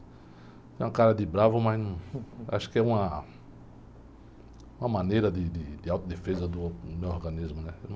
Tenho uma cara de bravo, mas acho que é uma, uma maneira de, de, de autodefesa do meu organismo.